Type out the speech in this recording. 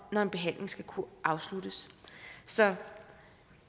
når en behandling skal kunne afsluttes så